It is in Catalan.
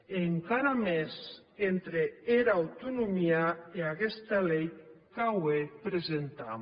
e encara mès entre era autonomia e aguesta lei qu’aué presentam